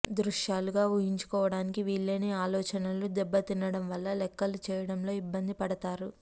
దృశ్యాలుగా ఊహించుకోవటానికి వీల్లేని ఆలోచనలు దెబ్బతినటం వల్ల లెక్కలు చేయటంలో ఇబ్బంది పడతారు